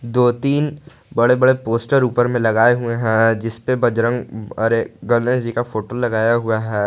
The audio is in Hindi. दो तीन बड़े बड़े पोस्टर ऊपर में लगाए हुए हैं जिस पर बजरंग अरे गणेश जी का फोटो लगाया हुआ है।